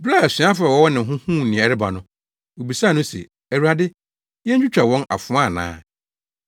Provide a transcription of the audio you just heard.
Bere a asuafo a wɔwɔ ne ho no huu nea ɛreba no, wobisaa no se, “Awurade, yentwitwa wɔn afoa ana?”